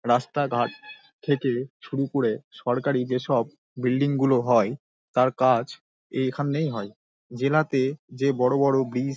রাস্তা ঘাট থাকে শুরু করে সরকারি যে সব বিল্ডিং -গুলো হয় তার কাজ এইখানেই হয় | জেলাতে যে বড়ো বড়ো ব্রিজ --